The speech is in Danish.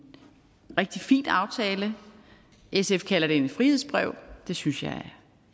rigtig fin aftale sf kalder det et frihedsbrev og det synes jeg